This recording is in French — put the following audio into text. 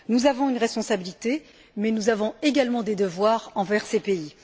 Nous avons une responsabilité, mais nous avons également des devoirs envers ces pays.